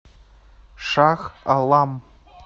шах алам